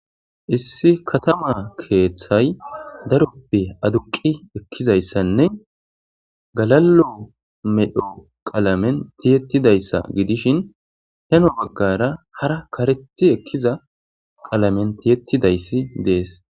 Issi katama keeththay daroppe aduqi ekkizayssanne galalo medho qalamen tiyettidayssa gidishin heno baggara hara kareti ekkiza qalamen tiyettidayssi dees